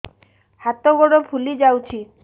ହାତ ଗୋଡ଼ ଫୁଲି ଯାଉଛି